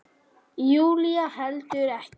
Júlía heldur ekkert.